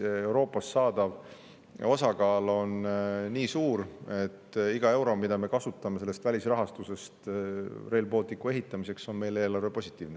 Tänavu Euroopast saadav osakaal on nii suur, et iga euro, mida me kasutame sellest välisrahastusest Rail Balticu ehitamiseks, on meie eelarvele positiivne.